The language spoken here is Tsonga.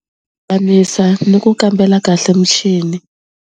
ni ku kambela kahle muchini.